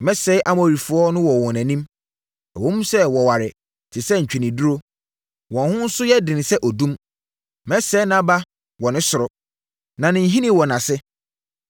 “Mesɛee Amorifoɔ no wɔ wɔn anim, ɛwom sɛ wɔware te sɛ ntweneduro. Wɔn ho nso yɛ den sɛ odum. Mesɛee nʼaba wɔ ne soro, ne ne nhini wɔ nʼase.